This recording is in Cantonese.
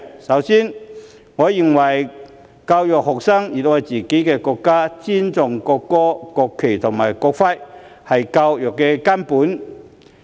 首先，我認為教育學生熱愛自己的國家，尊重國歌、國旗和國徽，是教育的根本。